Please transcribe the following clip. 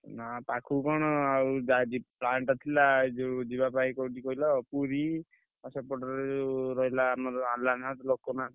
ନା ପାଖୁକୁ କଣ ଆଉ ଯା ଯିବୁ plan ଟା ଥିଲା। ଯୋଉ ଯିବା ପାଇଁ କୋଉଠି କହିଲ ପୁରୀ ଆଉ ସେପଟରେ ଯୋଉ ରହିଲା ଆମର ଆଲାରନାଥ ଲୋକନାଥ।